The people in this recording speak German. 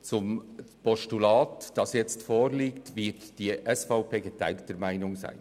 Betreffend das Postulat, welches nun vorliegt, wird die SVP geteilter Meinung sein.